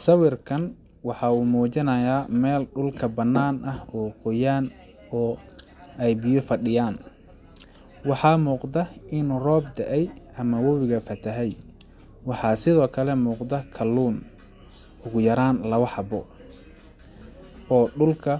Sawirkan waxa uu muujinayaa meel dhulka bannaan ah oo qoyan oo ay biyo fadhiyaan waxaa muuqda inu roob da'ay ama wabiga fatahay. Waxa sidoo kale muuqda kalluun ugu yaraan labo xabbo oo dhulka